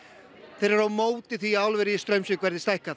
þeir eru á móti því að álverið í Straumsvík verði stækkað